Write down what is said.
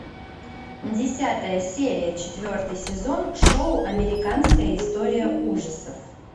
десятая серия четвертый сезон шоу американская история ужасов